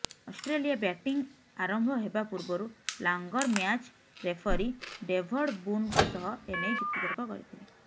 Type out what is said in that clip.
Australia batting ଆରମ୍ଭ ହେବା ପୂର୍ବରୁ ଲାଙ୍ଗର ମ୍ୟାଚ୍ ରେଫରୀ ଡେଭଡ୍ ବୁନଙ୍କ ସହ ଏନେଇ ଯୁକ୍ତିତର୍କ କରିଥିଲେ